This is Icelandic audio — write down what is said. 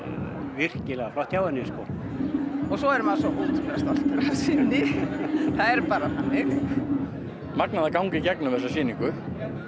virkilega flott hjá henni svo er maður svo ótrúlega stoltur það er bara þannig magnað að ganga inn í þessa sýningu